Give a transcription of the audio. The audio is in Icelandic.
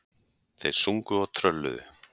Þeir sungu og trölluðu.